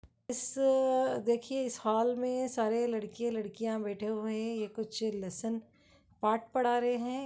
इस-स-स-स देखिए इस हॉल मे सारे लड़के लड़कियाँ बैठे हुएं हैं ये कुछ लेसन पाठ पढ़ा रहे हैं ।